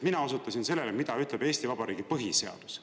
Mina osutasin sellele, mida ütleb Eesti Vabariigi põhiseadus.